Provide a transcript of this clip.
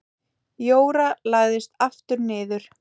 Jóra lagðist aftur niður.